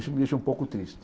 Isso me deixa um pouco triste.